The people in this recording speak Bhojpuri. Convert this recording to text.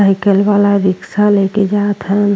साइकिल वाला रिक्शा लेके जात हन।